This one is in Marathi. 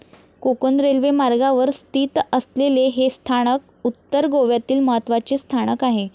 कोकण रेल्वे मार्गावर स्थित असलेले हे स्थानक उत्तर गोव्यातील महत्वाचे स्थानक आहे.